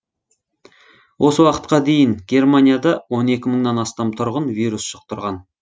осы уақытқа дейін германияда он екі мыңнан астам тұрғын вирус жұқтырған